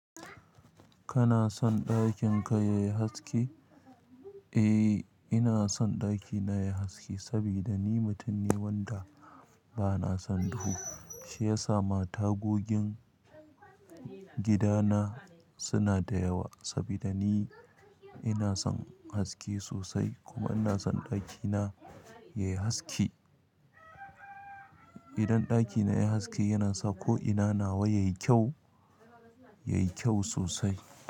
Kana son ɗakin ka yayi haske? Eh, ina son ɗakina yayi haske saboda ni mutum ne wanda bana son duhu. Shi ya sa matagogin gidana suna da yawa saboda ni ina son haske sosai kuma ina son ɗakina yayi haske. Idan ɗakina yayi haske yana sa ko'ina nawa yayi kyau, yayi kyau sosai.